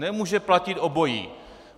Nemůže platit obojí.